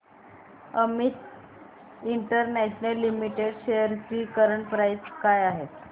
Amit international limited shares ची current price काय आहे